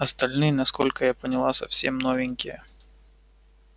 остальные насколько я поняла совсем новенькие